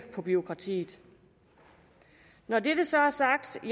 bureaukratiet når det så er sagt